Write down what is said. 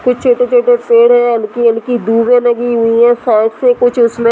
फिर छोटे-छोटे पेड़ हैं हल्की-हल्की धुबे लगी हुई हैं साइड से कुछ उसमें --